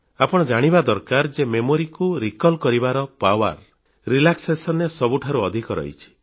ଆପଣ ଜାଣିବା ଦରକାର ଯେ ସ୍ମୃତି ଓ ସ୍ମରଣ ଶକ୍ତି କୁ ମନେପକାଇବାର ସାମର୍ଥ୍ୟ ଆରାମ କରିବା ବେଳେ ସବୁଠାରୁ ଅଧିକ ରହିଛି